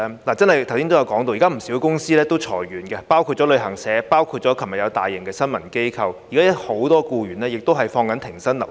大家剛才提到，現在有不少公司裁員，包括旅行社和昨天解僱大批員工的大型新聞機構，還有很多僱員現正停薪留職。